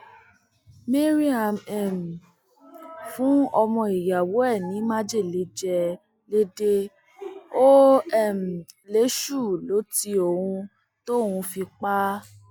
mariam um fún ọmọ ìyàwó ẹ ní májèlé jẹ lèdè ó um lèṣù lọ tí òun tóun fi pa á